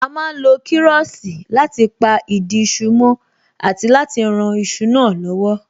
A má ń lo kiroosi láti pa ìdí iṣu mó àti láti rán iṣu náà lowo